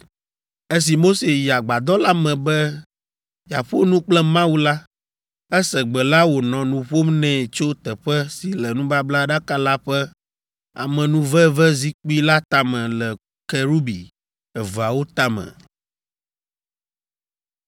Esi Mose yi agbadɔ la me be yeaƒo nu kple Mawu la, ese Gbe la wònɔ nu ƒom nɛ tso teƒe si le nubablaɖaka la ƒe amenuvevezikpui la tame le Kerubi eveawo tame.